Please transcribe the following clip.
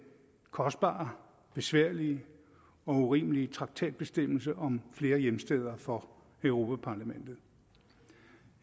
kostbare besværlige og urimelige traktatbestemmelse om flere hjemsteder for europa parlamentet